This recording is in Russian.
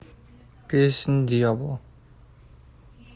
песнь дьявола